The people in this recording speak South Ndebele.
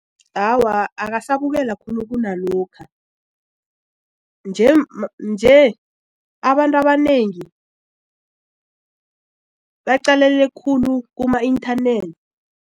Awa, akasabukelwa khulu kunalokha nje abantu abanengi baqalelele khulu kuma-inthanethi.